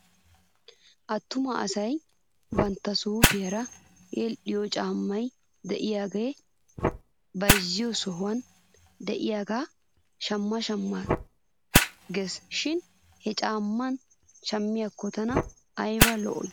Attuma asay bantta suufiyaara yedhdhiyoo caammay de'iyaagee beyzziyoo sohuwan de'iyaagaa shamma shamma ges shin he caammaa shammiyaakko tana ayba lo'ii